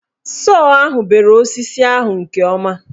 Sọọ ahụ bere osisi ahụ nke ọma.